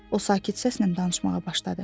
O sakit səslə danışmağa başladı.